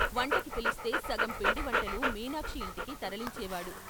వంటకి పిలిస్తే సగం పిండి వంటలు మీనాక్షి ఇంటికి తరలించే వాడు.